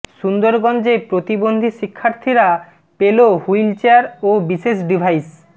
সুন্দরগঞ্জে প্রতিবন্ধী শিক্ষর্থীরা পেল হুইল চেয়ার ও বিশেষ ডিভাইস